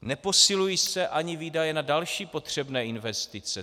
Neposilují se ani výdaje na další potřebné investice.